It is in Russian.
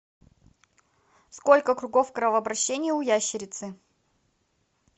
сколько кругов кровообращения у ящерицы